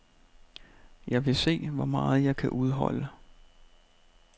Jeg vil se, hvor meget jeg kan udholde.